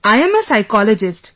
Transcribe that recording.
I am a psychologist